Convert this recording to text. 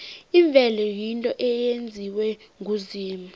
imvelo yinto eyenziwe nguzimu